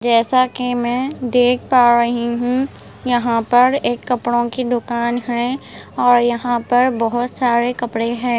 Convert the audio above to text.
जैसा कि मैं देख पा रही हूँ यहाँ पर एक कपड़ों की दुकान है और यहाँ पर बहुत सारे कपड़े हैं।